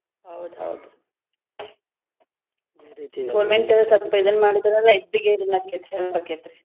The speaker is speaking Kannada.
ಹೌದ್ ಹೌದ್ government ಸ್ವಲ್ಪ ಇದನ್ನ್ ಮಾಡಿದ್ರಲ್ಲಾ ಹೊಕ್ಕೇತಿ.